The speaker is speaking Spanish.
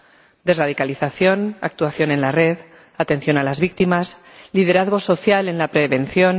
Los retos desradicalización, actuación en la red, atención a las víctimas, liderazgo social en la prevención.